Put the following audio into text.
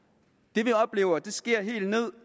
det vi oplever sker helt ned